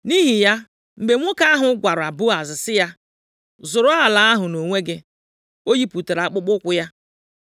Nʼihi ya, mgbe nwoke ahụ gwara Boaz sị ya, “Zụrụ ala ahụ nʼonwe gị,” o yipụtara akpụkpọụkwụ ya.